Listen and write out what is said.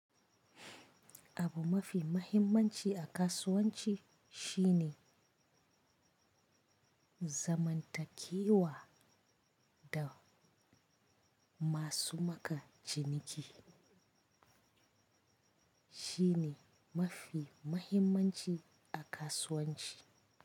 Abu mafi mahimmanci a kasuwanci shine zamantakewa da masu maka ciniki shine mafi mahimmanci a kasuwanci.